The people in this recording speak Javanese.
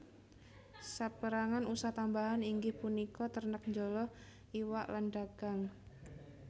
Sapérangan usah tambahan inggih punika ternak njala iwak lan dagang